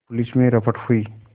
police में रपट हुई